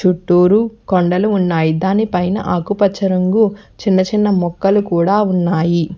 చుట్టూరు కొండలు ఉన్నాయి దాని పైన ఆకుపచ్చ రంగు చిన్న చిన్న మొక్కలు కూడా ఉన్నాయి.